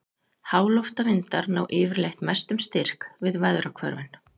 Háloftavindar ná yfirleitt mestum styrk við veðrahvörfin.